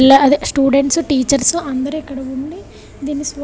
లా అదే students teachers అందరూ ఇక్కడ ఉండి దీన్ని స్వ్ --